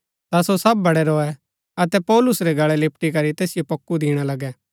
ता सो सब बड़ै रोऐ अतै पौलुस रै गळै लिपटी करी तैसिओ पोक्कु दिणा लगै